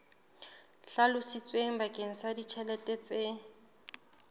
hlalositsweng bakeng sa ditjhelete tse